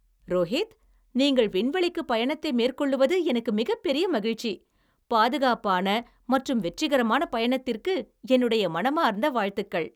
ரோஹித், நீங்கள் விண்வெளிக்கு பயணத்தை மேற்கொள்ளுவது எனக்கு மிகப்பெரிய மகிழ்ச்சி. பாதுகாப்பான மற்றும் வெற்றிகரமான பயணத்திற்கு என்னுடைய மனமார்ந்த வாழ்த்துக்கள்.